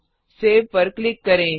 save पर click करें